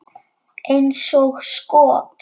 Eins og skot!